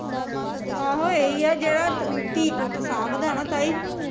ਆਹੋ, ਇਹੀ ਆ ਜਿਹੜਾ ਧੀ ਪੁੱਤ ਸਾਂਬਦਾ ਨਾ ਤਾਈ